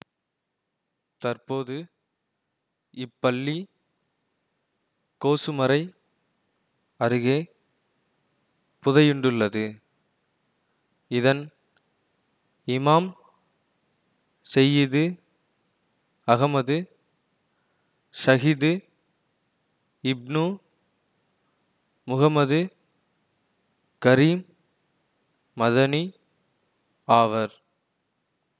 தற்போது இப்பள்ளி கோசுமறை அருகே புதையுண்டுள்ளது இதன் இமாம் செய்யிது அஹமது ஷஹிது இப்னு முஹம்மது கரீம் மதனி ஆவர்